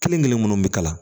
Kelen kelen munnu bi kalan